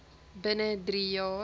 binne drie jaar